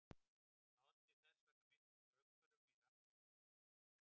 Það olli þess vegna miklum straumhvörfum í rannsóknum á eldgosum.